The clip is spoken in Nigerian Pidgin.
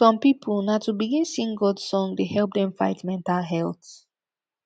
som pipo na to begin sing god song dey help dem fight mental health